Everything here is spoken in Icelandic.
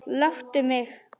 Láttu mig.